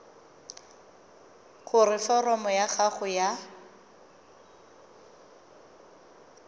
gore foromo ya gago ya